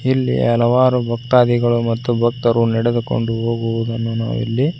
ಇಲ್ಲಿ ಹಲವಾರು ಭಕ್ತಾದಿಗಳು ಮತ್ತು ಭಕ್ತರು ನೆಡೆದುಕೊಂಡು ಹೋಗುವುದನ್ನು ನಾವು ಇಲ್ಲಿ--